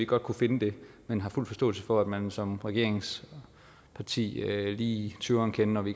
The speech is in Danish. godt kunne finde det men har fuld forståelse for at man som regeringsparti lige tøver en kende når vi